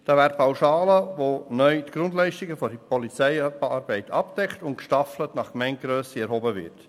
Da wäre etwa die Pauschale, die die Grundleistungen der Polizeiarbeit abdeckt und nach Gemeindegrösse gestaffelt erhoben wird.